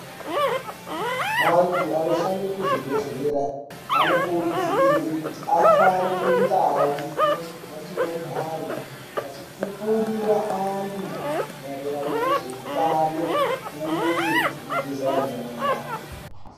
Antu anoshande kuzvibhedhlera anokurudzirwe kuti afambe mundau yatinogare achipupurire antu maererano ngezveutano uye ngekugeza nyara .